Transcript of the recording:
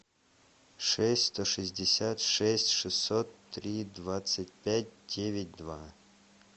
шесть сто шестьдесят шесть шестьсот три двадцать пять девять два